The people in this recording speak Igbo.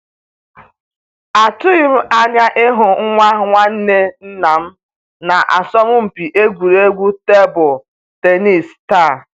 Atụghị m anya ịhụ nwa nwanne nnam na asọmpi egwuregwu tebụl tennis taa